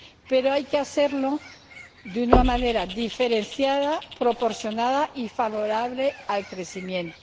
pero hay que hacerlo de una manera diferenciada, proporcionada y favorable al crecimiento.